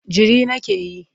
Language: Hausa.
Jiri nake yi.